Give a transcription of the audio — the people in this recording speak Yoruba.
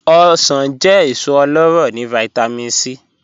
Ọ̀ṣọ̀n jẹ́ èsò ọlọ́rọ́ ni Vitamin C.